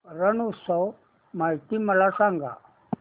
रण उत्सव माहिती मला सांग